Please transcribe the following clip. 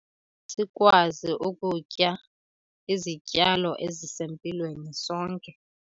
Sikwazi ukutya izityalo ezisempilweni sonke.